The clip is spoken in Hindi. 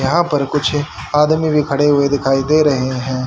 यहां पर कुछ आदमी भी खड़े हुए दिखाई दे रहे हैं।